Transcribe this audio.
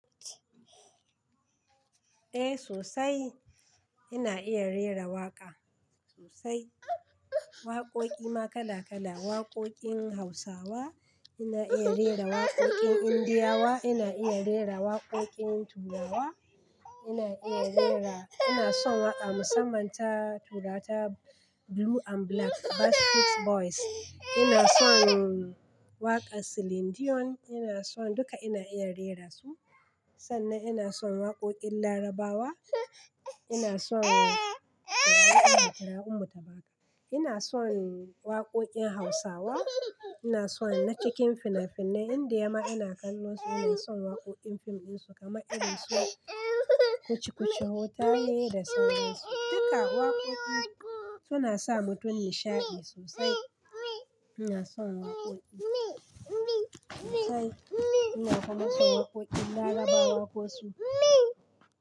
Eh sosai ina iya rera waƙa sosai. Waƙoƙi ma kala kala, waƙoƙin Hausawa ina iya rera, waƙoƙin Indiyawa ina iya rera, waƙoƙin Turawa ina iya rera. Ina son waƙa musamman ta Turata Blue and Black, Basket Boys. Ina son waƙar Celine Dion ina son duka ina iya rera su. Sannan ina son waƙoƙin Larabawa, ina son ina son waƙoƙin Hausawa, ina son na cikin fina-finai, Indiyama ina kallon su ina son waƙoƙin fim ɗinsu kamar irin su "Kuci-Kuci Hotahe" da sauran su. Duka waƙoƙi suna sa mutum nishaɗi sosai. Ina son waƙoƙi sosai. Ina kuma son waƙoƙin Larabawa kosu.